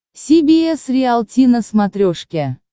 си би эс риалти на смотрешке